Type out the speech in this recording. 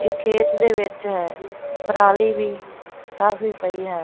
ਇਹ ਖੇਤ ਦੇ ਵਿੱਚ ਹੈ ਪਰਾਲੀ ਵੀ ਕਾਫੀ ਪਈ ਹੈ।